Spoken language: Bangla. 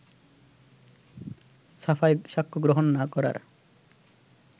সাফাই সাক্ষ্যগ্রহন না করার